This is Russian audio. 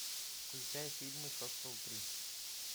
включай фильмы хостел три